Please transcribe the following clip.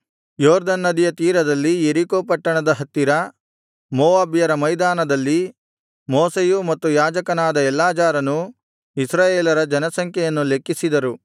ಯೊರ್ದನ್ ನದಿಯ ತೀರದಲ್ಲಿ ಯೆರಿಕೋ ಪಟ್ಟಣದ ಹತ್ತಿರ ಮೋವಾಬ್ಯರ ಮೈದಾನದಲ್ಲಿ ಮೋಶೆಯೂ ಮತ್ತು ಯಾಜಕನಾದ ಎಲ್ಲಾಜಾರನೂ ಇಸ್ರಾಯೇಲರ ಜನಸಂಖ್ಯೆಯನ್ನು ಲೆಕ್ಕಿಸಿದರು